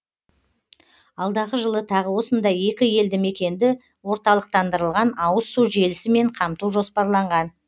алдағы жылы тағы осындай екі елді мекенді орталықтандырылған ауыз су желісімен қамту жоспарланған